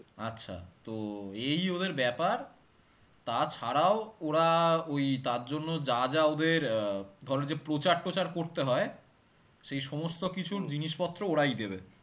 আচ্ছা তো এই ওদের ব্যাপার তা ছাড়াও ওরা ওই তার জন্য যা যা ওদের আহ ধরে ওই যে প্রচার টোচার করতে হয় সেই সমস্ত কিছুর জিনিসপত্র ওরাই দেবে